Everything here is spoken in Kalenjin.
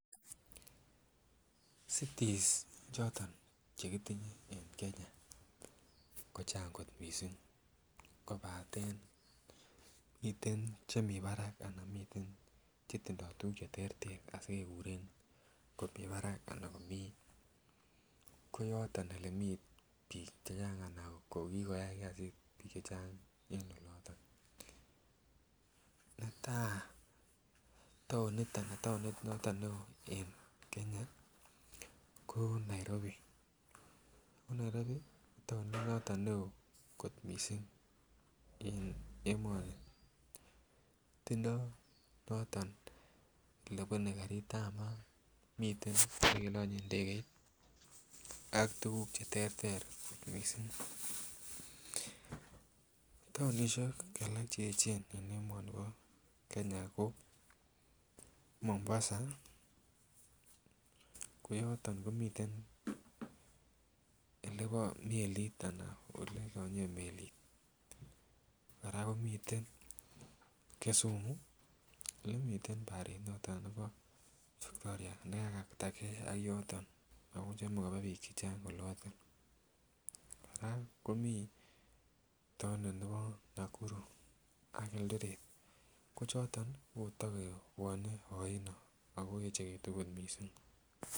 Cities choton chekitinye en Kenya kochang kot mising kobaten miten Chemiten Barak akomiten chetindo tuguk cheterter asikekuren komi Barak koyaton olemi bik chechang akokikoyai kasit bik chechang en oloton Neta ko taonit niton neon en Kenya ko Nairobi konairobi ko taonit niton neon kot mising en emoni tinye notonnolebune karit ab mat miten olekilanyen ndegeit ak tugug cheterter kot mising taonishiek alak cheyechen en Nebo kenya ko Mombasa koyaton komiten elebo melit anan olekilanyen melit koraa komiten Kisumu olemiten barit noton lake Victoria olekakata gei ak yoton nebuch komakaba bik chechang oloton akoraa komii taonit Nebo Nakuru ak Eldoret akotakendo ainon okot mising